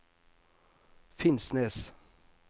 Finnsnes